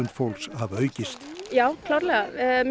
fólks hafa aukist já klárlega